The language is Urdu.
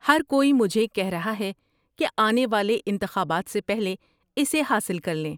ہر کوئی مجھے کہہ رہا ہے کہ آنے والے انتخابات سے پہلے اسے حاصل کر لیں۔